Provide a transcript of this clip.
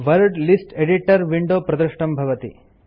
word list editor window प्रदृष्टं भवति